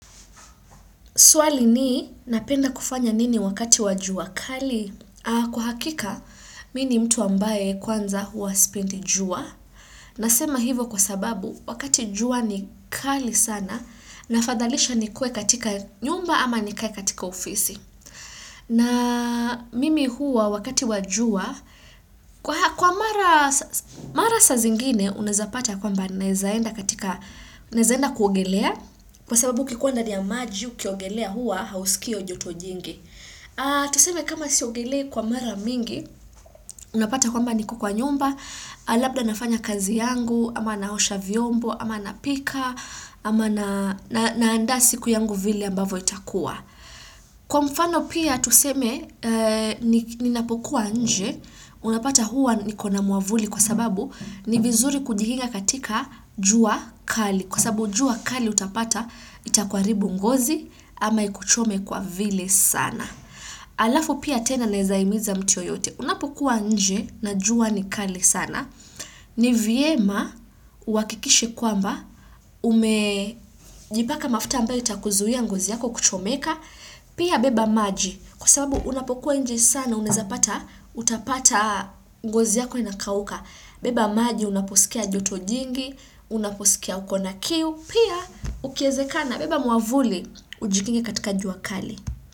Swali ni, napenda kufanya nini wakati wa jua kali? Kwa hakika, mi ni mtu ambaye kwanza hua spendi jua. Nasema hivo kwa sababu, wakati jua ni kali sana, nafadhalisha nikue katika nyumba ama nikae katika ofisi. Na mimi hua wakati wa jua, kwa mara sa zingine, naezaenda katika, naezaenda kuogelea. Kwa sababu ukikua ndani ya maji ukiogelea hua hausikii io joto jingi. Tuseme kama siogelea kwa mara mingi, unapata kwamba niko kwa nyumba, labda nafanya kazi yangu, ama naosha vyombo, ama napika, ama naanda siku yangu vile ambavo itakuwa. Kwa mfano pia tuseme ninapokuwa nje, unapata hua niko na mwavuli kwa sababu ni vizuri kujihinga katika jua kali. Kwa sababu jua kali utapata itakwaribu ngozi ama ikuchome kwa vile sana. Alafu pia tena naezaimiza mtu yoyote. Unapokuwa nje na jua ni kali sana. Ni viema uakikishishe kwamba ume Jipaka mafuta ambayo itakuzuia ngozi yako kuchomeka. Pia beba maji. Kwa sababu unapokuwa nje sana unezapata utapata ngozi yako inakauka. Beba maji unaposikia joto jingi. Unaposikia uko na kiu. Pia ukiezekana beba mwavuli ujikinge katika jua kali.